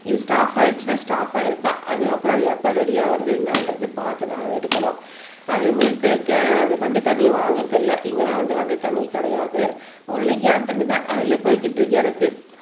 இது ஸ்டாப் ஆயிடுச்சின்னா ஸ்டாப் ஆகிடரதுதான் அதுக்கப்புறம் எப்போ அது ரெடியாகிறது என்னன்றது பார்த்து தான் அது எடுக்கணும் அதே மாதிரி து கே வண்டி தண்ணியும் வாங்குவதில்லை இங்க வந்து வண்டி தண்ணியும் கிடையாது ஒன்லி கேன் தண்ணி தான் அதிலேயே போய்க்கிட்டு இருக்கு எனக்கு